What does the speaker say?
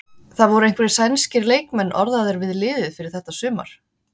Það voru einhverjir sænskir leikmenn orðaðir við liðið fyrir þetta sumar?